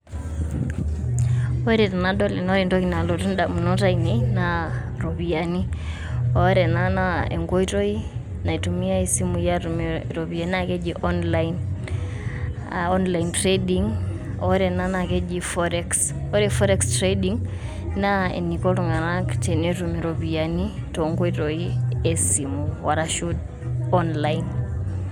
Ore tenadol ena, ore entoki nalotu indamunot aainei naa iropiyiani, ore ena naa enkoitoi naitumiyai inkoitoi esimu aatum iropiyiani, naa keji online aa online trading. Ore ena naa ekeji forex, ore forex trading naa eniko iltung'anak tenetum iropiyiani toonkoitoi esimu arashu online.